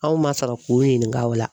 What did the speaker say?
Anw ma sɔrɔ k'u ɲininka o la.